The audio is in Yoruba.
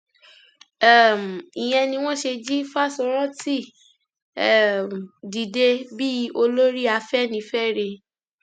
um ìyẹn ni wọn ṣe jí fáṣórántì um dìde bíi olórí afẹnifẹre